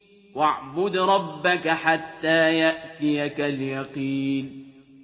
وَاعْبُدْ رَبَّكَ حَتَّىٰ يَأْتِيَكَ الْيَقِينُ